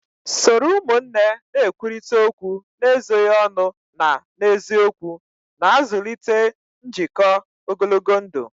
Soro ụmụnne na-ekwurịta okwu n'ezoghị ọnụ na n'eziokwu, na-azụlite njikọ ogologo ndụ